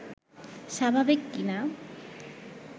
স্বাভাবিক কিনা